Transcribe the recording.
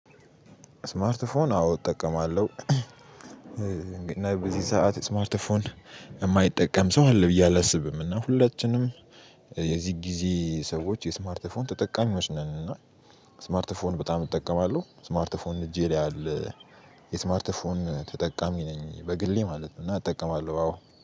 ስማርት ስማርት ፎን አዎ እጠቀማለሁ። እና በዚህ ሰዓት ስማርት ፎን የማይጠቀም ሰው አለ ብዬ አላስብም። እና ሁላችንም የዚህ ጊዜ ሰዎች የስማርት ፎን ተጠቃሚዎች ነን። እና ስማርት ፎን በጣም እጠቀማለሁ ስማርት ፎን እጄ ላይ አለ። የስማርት ፎን ተጠቃሚ ነኝ በግሌ ማለት ነው። እና እጠቀማለሁ አዎ